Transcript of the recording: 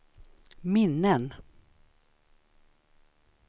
minnen